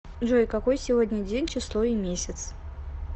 джой какой сегодня день число и месяц